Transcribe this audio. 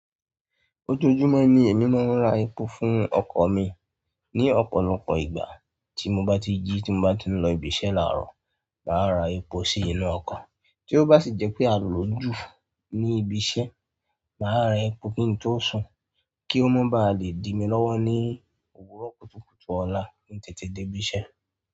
Ojoojúmọ́ ni èmi máa ń ra epo fún ọkọ̀ mi. Ni ọ̀pọ̀lọpọ̀ ìgbà tí mo bá ti jí tí mo bá ti ń lọ ibi iṣẹ́ láàárọ̀, màá ra epo sí inú ọkọ̀. Tí ó bá sì jẹ́ pé a lò ó jù ní ibi iṣẹ́, mà á ra epo kí n tó sùn kí ó má ba lè dìmi lọ́wọ́ ní òwúrọ̀ kùtùkùtù ọ̀la kin tètè dé ibi iṣẹ́.